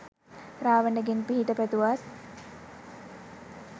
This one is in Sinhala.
රාවණගෙන් පිහිට පැතුවත්